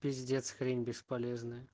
пиздец хрень бесполезная